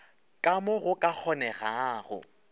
ka mo go ka kgonegago